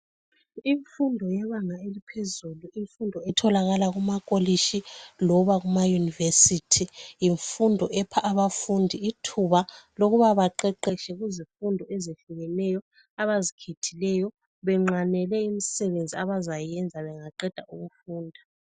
Imfundo yebanga eliphezulu , imfundo etholakala kumakolishi loba kuma university yimfundo epha abafundi ithuba lokuba baqeqetshe kuzifundo ezehlukeneyo abazikhethileyo benqanele imisebenzi abazayenza bengaqeda ukufunda